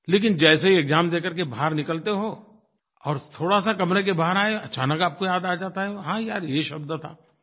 लेकिन जैसे ही एक्साम दे करके बाहर निकलते हो और थोड़ा सा कमरे के बाहर आए अचानक आपको याद आ जाता है हाँ यार यही शब्द था